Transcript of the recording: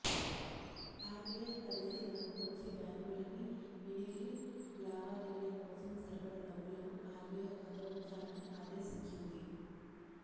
RBI పరిధి కిందకు వచ్చే బ్యాంకులన్నీ వినినీగి లావాదేవీల కోసం సరిపడా డబ్బులను ఆర్బీఐ వద్ద ఉంచాలని ఆదేశించింది